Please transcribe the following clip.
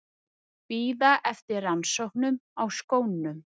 Bíða eftir rannsóknum á skónum